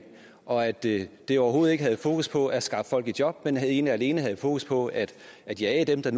og at det det overhovedet ikke havde fokus på at skaffe folk i job men ene og alene havde fokus på at jage dem der